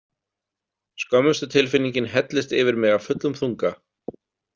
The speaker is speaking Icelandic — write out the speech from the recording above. Skömmustutilfinningin hellist yfir mig af fullum þunga.